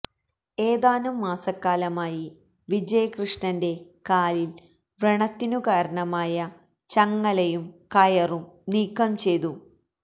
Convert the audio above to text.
ഏതാനും മാസക്കാലമായി വിജയകൃഷ്ണന്റെ കാലില് വ്രണത്തിനു കാരണമായ ചങ്ങലയും കയറും നീക്കം ചെയ്തു